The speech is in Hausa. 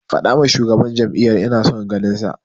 Faɗawa shugaban jam'iyyar ina son ganinsa.